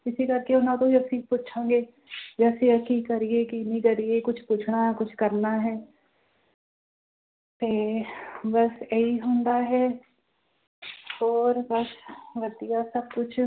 ਇਸੇ ਕਰਕੇ ਉਹਨਾਂ ਤੋਂ ਹੀ ਅਸੀਂ ਪੁੱਛਾਂਗੇ ਵੀ ਅਸੀਂ ਇਹ ਕੀ ਕਰੀਏ ਕੀ ਨਹੀਂ ਕਰੀਏ, ਕੁਛ ਪੁੱਛਣਾ ਕੁਛ ਕਰਨਾ ਹੈ ਤੇ ਬਸ ਇਹੀ ਹੁੰਦਾ ਹੈ ਹੋਰ ਬਸ ਵਧੀਆ ਸਭ ਕੁਛ।